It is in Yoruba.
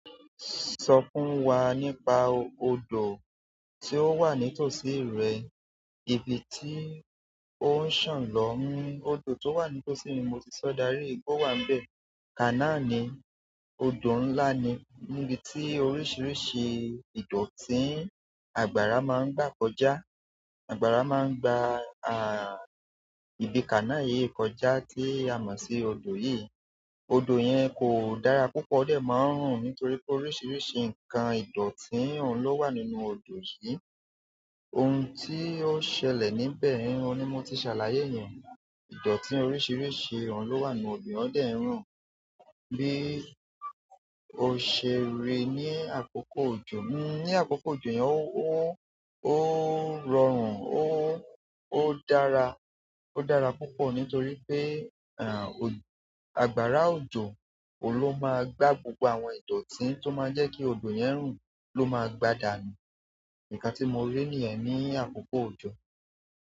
Sọ fún wa nípa ọdọ tí ó wà nítoṣi rẹ, ibi tí ó ń sàn lọ. Ọdọ tó wà nítoṣi mi, mo ti sọ darí ìgbó wà n bẹ̀. Kaná ni ọdọ ńlá ni. Nibiti oríṣiríṣi ìdọ̀tí àgbàrá máa ń gbà kọjá. Àgbàrá máa ń gba ibi Kana yìí kọjá tí a mọ̀ sí ọdọ yìí. Ọdọ yẹn kò dára púpọ̀ o dẹ̀ máa ń rùn, nítorí pé oríṣiríṣi nǹkan ìdọ̀tí òun ló wà nínú ọdọ yìí. Ohun tí ó ṣẹlẹ̀ níbẹ̀ òun ni mo ti ṣàlàyé yẹn. Ìdọ̀tí oríṣiríṣi òun ló wà nínú odò, ó dẹ̀ ń rùn. Bí o ṣe rì ní àkókò ọjọ. Ní àkókò òjò yẹn, ó rọrùn, ó dára, ó dára púpọ̀ nítorí pé, àgbàrá òjò, òun ló máa gbà gbogbo àwọn ìdọ̀tí tó máa ń jẹ́ kí odò yẹn rùn ló máa gbà dànù. Nǹkan tí mo rí nìyẹn ní àkókò òjò.